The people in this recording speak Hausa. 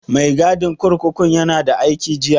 Mai gadin kurkukun ya na da aiki jiya?